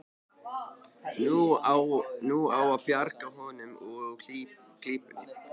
Nú á að bjarga honum úr klípunni.